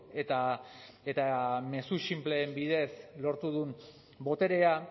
eta mezu sinpleen bidez lortu duen boterea